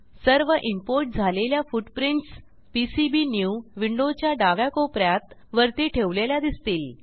सर्व इंपोर्ट झालेल्या footprints pcbnew विंडोच्या डाव्या कोप यात वरती ठेवलेल्या दिसतील